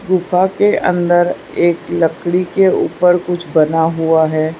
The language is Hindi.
गुफा के अंदर एक लकड़ी के ऊपर कुछ बना हुआ है।